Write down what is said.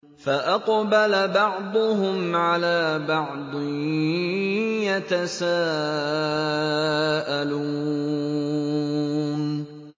فَأَقْبَلَ بَعْضُهُمْ عَلَىٰ بَعْضٍ يَتَسَاءَلُونَ